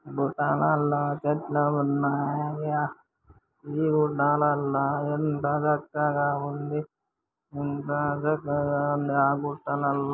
గుట్టలల్ల చెట్లు ఉన్నాయా ఈ కొండలల్ల ఎంత చక్కగా ఉంది గట్టలల్ల.